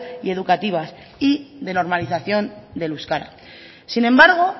y educativas y de normalización del euskera sin embargo